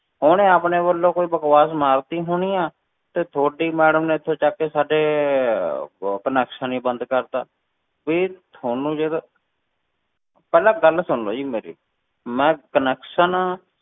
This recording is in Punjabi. ਉਹਨੇ ਆਪਣੇ ਵੱਲੋਂ ਕੋਈ ਬਕਵਾਸ ਮਾਰ ਦਿੱਤੀ ਹੋਣੀ ਆਂ, ਤੇ ਤੁਹਾਡੀ madam ਨੇ ਇੱਥੋਂ ਚੁੱਕ ਕੇ ਸਾਡੇ ਉਹ connection ਹੀ ਬੰਦ ਕਰ ਦਿੱਤਾ, ਵੀ ਤੁਹਾਨੂੰ ਜੇਕਰ ਪਹਿਲਾਂ ਗੱਲ ਸੁਣ ਲਓ ਜੀ ਮੇਰੀ, ਮੈਂ connection